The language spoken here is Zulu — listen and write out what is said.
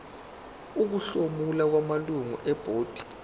ukuhlomula kwamalungu ebhodi